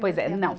Pois é, não.